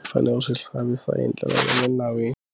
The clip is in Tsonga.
u fanele u swi hlamisa hi ndlela ya le nawini.